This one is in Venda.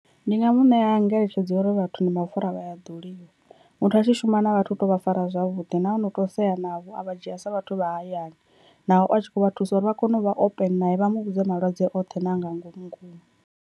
Ndi nga mu ṋea ngeletshedzo ya uri vhathu ndi mapfura vha a ḓoliwa, muthu a tshi shuma na vhathu u tea u vha fara zwavhuḓi nahone u tea u sea navho a vha dzhia sa vhathu vha hayani naho a tshi kho vha thusa uri vha kone u vha open nae vha mu vhudze malwadze oṱhe na a nga ngomu ngomu.